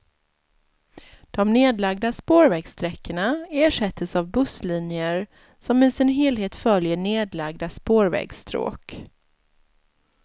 De nedlagda spårvägssträckorna ersättes av busslinjer, som i sin helhet följer nedlagda spårvägsstråk.